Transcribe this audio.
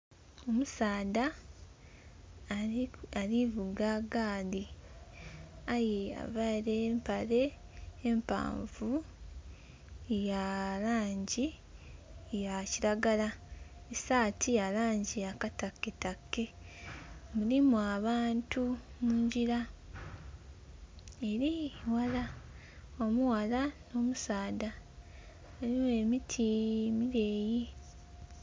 Omusaadha ali vuga gaali aye availe empale empanvu ya langi ya kiragala, saati ya langi ya kataketake , mulimu abantu mungira, ere ghala, omughala n'omusaadha, eriyo emiti emileeyi.